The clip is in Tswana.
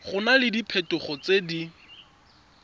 go na le diphetogo tse